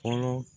Fɔlɔ